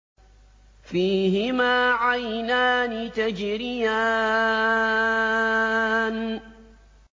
فِيهِمَا عَيْنَانِ تَجْرِيَانِ